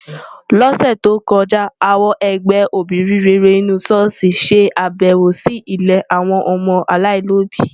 Lọ́sẹ̀ tó kọjá, àwọn ẹgbẹ́ obìnrin rere inú ṣọ́ọ̀ṣì ṣe àbẹ̀wò sí ilé àwọn ọmọ aláìlóbìí.